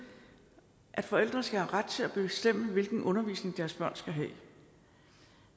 at forældre skal have ret til at bestemme hvilken undervisning deres børn skal have